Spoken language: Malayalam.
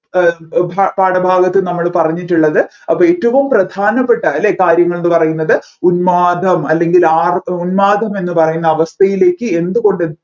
പാഠഭാഗത്ത് നമ്മൾ പറഞ്ഞിട്ടുള്ളത് അപ്പൊ ഏറ്റവും പ്രധാനപ്പെട്ട അല്ലെ കാര്യങ്ങൾ എന്ന് പറയുന്നത് ഉന്മാദം അല്ലെങ്കിൽ ആർ ഉന്മാദം എന്ന് പറയുന്ന അവസ്ഥയിലേക്ക് എന്തുകൊണ്ട്